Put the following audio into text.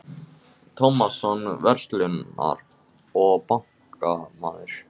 Tómasson, verslunar- og bankamaður.